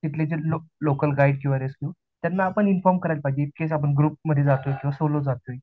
तिथले जे local guide किंवा रेस्क्यू त्यांना आपण इन्फॉर्म करायला पाहिजे इन केस आपण ग्रुप मध्ये जातोय की सोलो जातोय